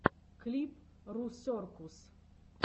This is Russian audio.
клип русеркус